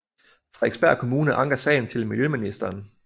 Frederiksberg Kommune anker sagen til miljøministeren